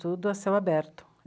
Tudo a céu aberto.